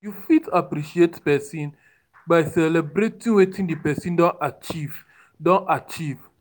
You fit appreciate person by celebrating wetin di person don achieve don achieve